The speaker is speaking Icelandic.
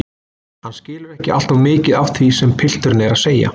Hann skilur ekki alltof mikið af því sem pilturinn er að segja.